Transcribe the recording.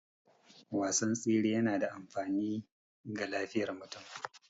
Wasan tsere yana da amfani ga lafiyar mutum